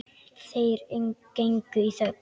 Þeir gengu í þögn.